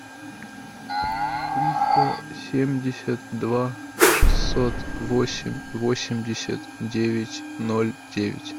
триста семьдесят два шестьсот восемь восемьдесят девять ноль девять